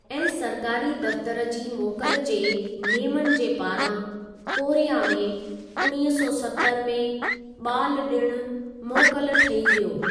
ऐं सरकारी दफ़्तर जी मोकल जे नेमनि जे पारां कोरिया में उणिवींह सौ सतरि में बा॒ल डि॒णु मोकल ठही वियो।